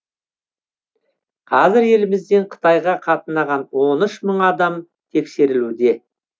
қазір елімізден қытайға қатынаған он үш мың адам тексерілуде